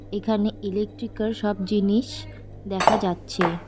এখানে ইলেকট্রিকের সব জিনিস দেখা যাচ্ছে।